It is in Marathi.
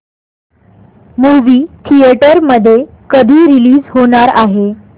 मूवी थिएटर मध्ये कधी रीलीज होणार आहे